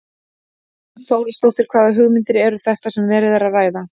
Hrund Þórsdóttir: Hvaða hugmyndir eru þetta sem verið er að ræða?